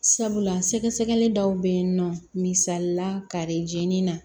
Sabula sɛgɛsɛgɛli dɔw be yen nɔ misali la kare jeni na